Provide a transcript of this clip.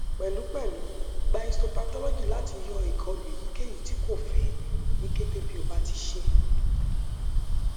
pẹlupẹlu gba histopathology lati lati yọ ikolu eyikeyi ti ko fẹ ni kete bi o ti ṣee